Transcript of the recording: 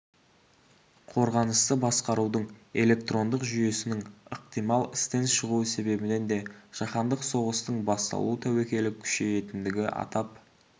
қорғанысты басқарудың электрондық жүйесінің ықтимал істен шығуы себебінен де жаһандық соғыстың басталу тәуекелі күшейетіндігі атап